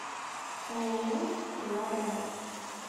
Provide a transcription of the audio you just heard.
ооо стрела рядом